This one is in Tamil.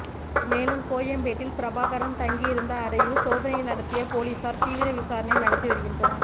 மேலும் கோயம்பேட்டில் பிரபாகரன் தங்கி இருந்த அறையில் சோதனை நடத்திய போலீசார் தீவிர விசாரணை நடத்தி வருகின்றனர்